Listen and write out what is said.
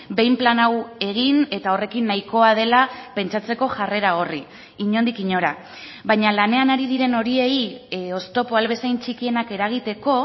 behin plan hau egin eta horrekin nahikoa dela pentsatzeko jarrera horri inondik inora baina lanean ari diren horiei oztopoa ahal bezain txikienak eragiteko